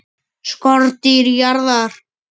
SKORDÝR JARÐAR!